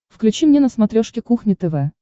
включи мне на смотрешке кухня тв